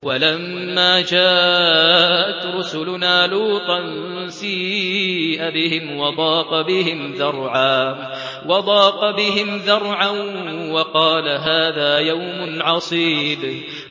وَلَمَّا جَاءَتْ رُسُلُنَا لُوطًا سِيءَ بِهِمْ وَضَاقَ بِهِمْ ذَرْعًا وَقَالَ هَٰذَا يَوْمٌ عَصِيبٌ